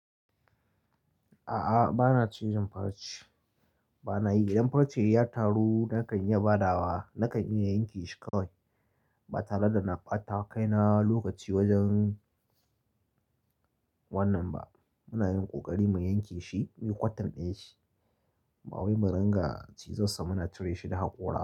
A'a, ba na cizon farce. Ba na yi. Idan farce ya taru nakan iya badawa, nakan iya yanke shi kawai ba tare da na ɓata wa kaina lokaci wajen wannan ba. Muna yin ƙoƙari mu yanke shi, muyi cutting ɗin shi. Ba wai mu riga cizon sa muna cire shi da haƙora.